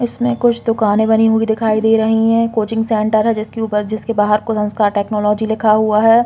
इसमें कुछ दुकानें बनी हुई दिखाई दे रही है। कोचिंग सेंटर है जिसके ऊपर जिसके बाहर को संस्कार टेक्नोलॉजी लिखा हुआ है।